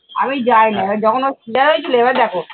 আমি যাই না এবার যখন ওর cesar হয়েছিল এবার দেখো